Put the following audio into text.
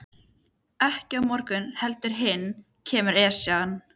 Ekki á morgun heldur hinn kemur Esjan.